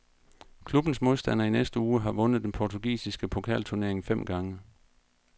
Klubbens modstander i næste uge har vundet den portugisiske pokalturnering fem gange.